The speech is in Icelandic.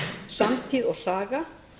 samtíð og saga